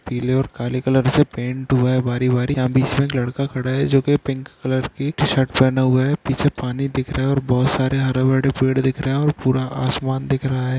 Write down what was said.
पीले और काले कलर से पेंट हुवे बारी बारी और बीच लड़का खड़ा है जो के पिंक कलर की टी शर्ट पहना हुवा है पीछे पानी दिखरहा है और बहुत सरे हरा बड़ा पेड़ दिखराहे है और पूरा आसमान दिखरहा है.